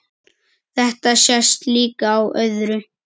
Þetta sést líka á öðru.